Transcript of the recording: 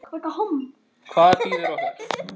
Hvað bíður okkar?